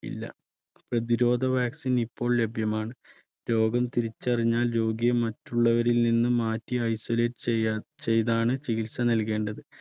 ഇല്ല പ്രതിരോധ vaccine ഇപ്പോൾ ലഭ്യമാണ്. രോഗം തിരിച്ചറിഞ്ഞാൽ രോഗിയെ മറ്റുള്ളവരിൽ നിന്ന് മാറ്റി isolate ചെയ~ചെയ്താണ് ചികിത്സ നൽകേണ്ടത്.